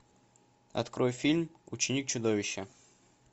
открой фильм ученик чудовища